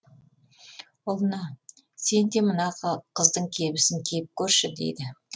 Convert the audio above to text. ұлына сен де мына қыздың кебісін киіп көрші дейді